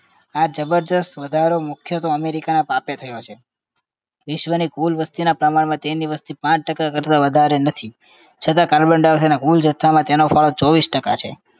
આ જબરદસ્ત વધારો મુખ્ય તો અમેરીકાના પાપે થયો છે. વિશ્વની કુલ વસ્તીના પ્રમાણમાં તેમની વસ્તી પાંચ ટકા કરતાં વધારે નથી છતાં carbon dioxide ના કુલ જથ્થામાં તેનો ફાળો ચોવીસ ટકા છે